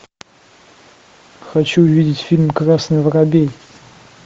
хочу видеть фильм красный воробей